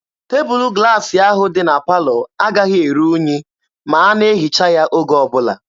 Tebụlụ glaasị ahụ dị na palọ agaghị eru unyi ma a na-ehicha ya oge ọbụla.